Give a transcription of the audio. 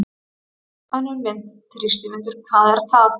Önnur mynd: Þrýstivindur- hvað er það?